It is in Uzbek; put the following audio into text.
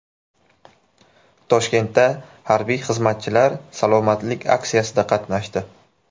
Toshkentda harbiy xizmatchilar salomatlik aksiyasida qatnashdi .